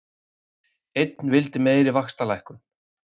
Einn vildi meiri vaxtalækkun